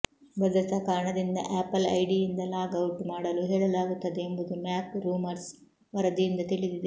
ಭದ್ರತಾ ಕಾರಣದಿಂದ ಆಪಲ್ ಐಡಿಯಿಂದ ಲಾಗ್ ಔಟ್ ಮಾಡಲು ಹೇಳಲಾಗುತ್ತದೆ ಎಂಬುದು ಮ್ಯಾಕ್ ರೂಮರ್ಸ್ ವರದಿಯಿಂದ ತಿಳಿದಿದೆ